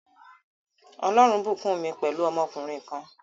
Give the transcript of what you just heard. Ọlọrun bùkún mi pẹ̀lú ọmọkùnrin kan